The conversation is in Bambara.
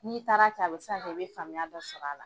N'i taara kɛ a bɛ ka kɛ i bɛ faamuya dɔ sɔr'a la.